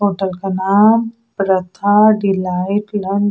hotel का नाम Radha delight --